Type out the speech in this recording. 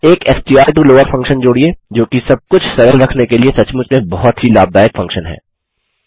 एक STR to lower function जोड़िये जोकि सबकुछ सरल रखने के लिए सचमुच में बहुत ही लाभदायक फंक्शन है